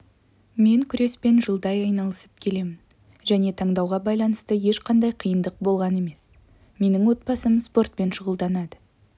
мен күреспен жылдай айналысып келемін және таңдауға байланысты ешқандай қиындық болған емес менің отбасым спортпен щұғылданады